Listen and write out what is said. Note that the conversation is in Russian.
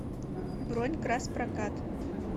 бронь краспрокат